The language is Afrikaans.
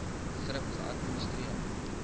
thrip geadministreer